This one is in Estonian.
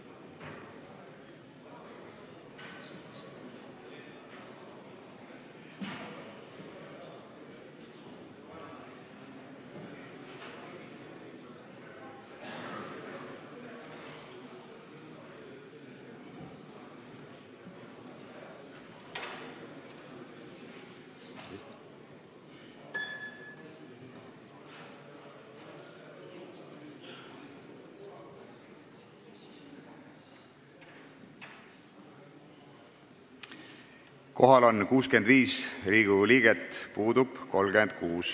Kohaloleku kontroll Kohal on 65 Riigikogu liiget, puudub 36.